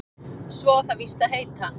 Svo á það víst að heita